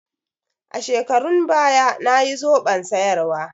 A shekarun baya nayi zoɓon soyarwa.